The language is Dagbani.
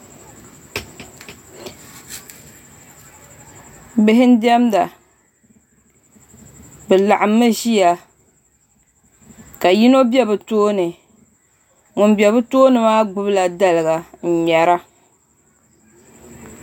Bihi n diɛmda bi laɣammi ʒiya ka yino bɛ bi tooni ŋun bɛ bi tooni maa gbubila daliga n ŋmɛra